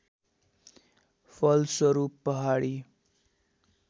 फलस्वरूप पहाडी